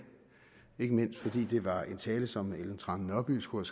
ikke mindst fordi det var en tale som fru ellen trane nørby skulle